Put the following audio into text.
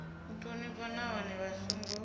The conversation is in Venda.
u thonifha nahone vha songo